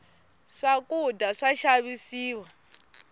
swakudya swa xavisiwa